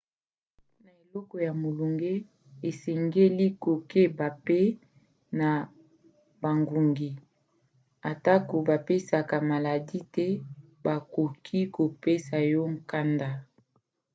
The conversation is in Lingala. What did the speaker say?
na eleko ya molunge osengeli kokeba mpe na bangungi. atako bapesaka maladi te bakoki kopesa yo nkanda